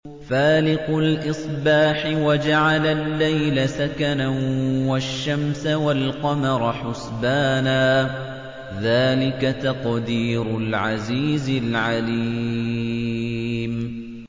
فَالِقُ الْإِصْبَاحِ وَجَعَلَ اللَّيْلَ سَكَنًا وَالشَّمْسَ وَالْقَمَرَ حُسْبَانًا ۚ ذَٰلِكَ تَقْدِيرُ الْعَزِيزِ الْعَلِيمِ